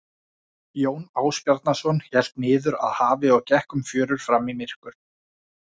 Jón Ásbjarnarson hélt niður að hafi og gekk um fjörur fram í myrkur.